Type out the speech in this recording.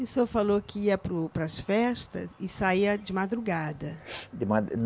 E o senhor falou que ia para o, para as festas e saia de madrugada. De madu